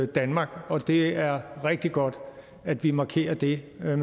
danmark og det er rigtig godt at vi markerer det med